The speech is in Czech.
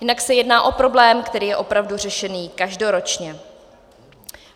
Jinak se jedná o problém, který je opravdu řešený každoročně.